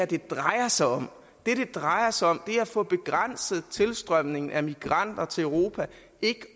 det drejer sig om det det drejer sig om er at få begrænset tilstrømningen af migranter til europa ikke